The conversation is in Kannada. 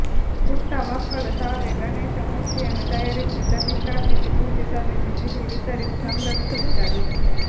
ಪುಟ್ಟ ಮಕ್ಕಳು ತಾವೇ ಗಣೇಶ ಮೂರ್ತಿಯನ್ನು ತಯಾರಿಸಿ ಪ್ರತಿಷ್ಠಾಪಿಸಿ ಪೂಜೆ ಸಲ್ಲಿಸಿ ಸಿಹಿ ವಿತರಿಸಿ ಸಂಭ್ರಮಿಸಿದ್ದರು